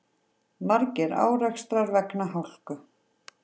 Margir árekstrar vegna hálku